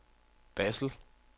Basel